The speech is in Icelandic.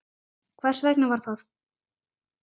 Hvers vegna var það?